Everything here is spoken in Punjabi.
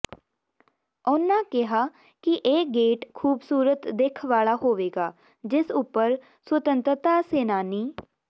ਉਨ੍ਹਾਂ ਕਿਹਾ ਕਿ ਇਹ ਗੇਟ ਖ਼ੂਬਸੂਰਤ ਦਿੱਖ ਵਾਲਾ ਹੋਵੇਗਾ ਜਿਸ ਉੱਪਰ ਸੁਤੰਤਰਤਾ ਸੈਨਾਨੀ ਸ